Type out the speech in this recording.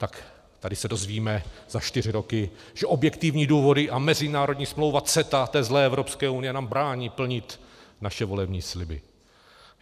Tak tady se dozvíme za čtyři roky, že objektivní důvody a mezinárodní smlouva CETA té zlé Evropské unie nám brání plnit naše volební sliby.